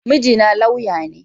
Mijina laywa ne.